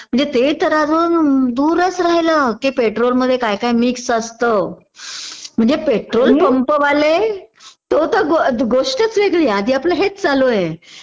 म्हणजे ते तर अजून दूरच राहिलं कि पेट्रोलमधे कायकाय मिक्स असतं म्हणजे पेट्रोल पम्पवाले तो तर गोष्टच वेगळी आधी आपलं हेच चालू आहे